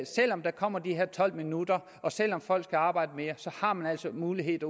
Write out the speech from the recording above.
selv om der kommer de her tolv minutter og selv om folk skal arbejde mere så har mulighed